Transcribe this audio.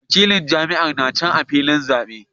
Wakilan jam'iyyar na can a filin zabe